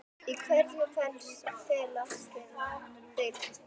Í hverju felast þeir?